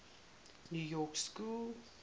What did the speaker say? new york school